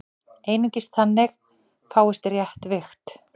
Einungis þannig fáist rétt vigt.